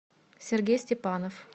сергей степанов